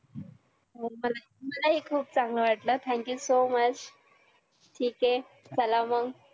हो मलाही मलाही खुप चांगलं वाटलं thank you so much ठीक आहे चला मग